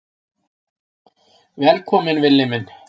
Velkominn Villi minn.